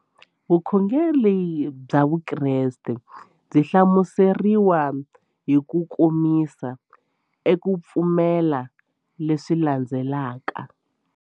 Vukhongeri bya Vukreste byi nga hlamuseriwa hi kukomisa eka ku pfumela leswi landzelaka.